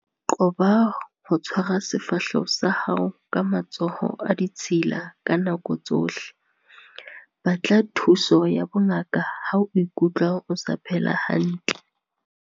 Qoba ho tshwara sefahleho sa hao ka matsoho a ditshila ka nako tsohle. Batla thuso ya bongaka ha o ikutlwa o sa phela hantle.